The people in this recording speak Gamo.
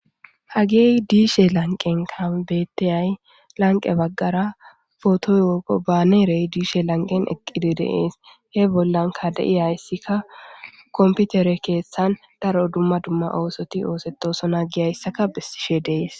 hagey diishe lanqenka bettiyay lanqe baggara potoy woqo baanerey diishe lanqen eqqide de7ees he bollanka de7iyayssika komputere keeththan daro dumma dumma oosoti oosetosona giyayssaka bessishe dees